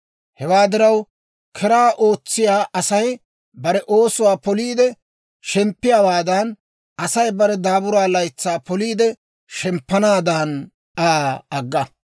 Hewaa diraw, keraa ootsiyaa Asay bare oosuwaa poliide shemppiyaawaadan, Asay bare daabura laytsaa poliide shemppanaadan, Aa agga.